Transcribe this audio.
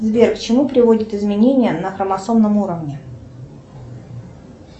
сбер к чему приводят изменения на хромосомном уровне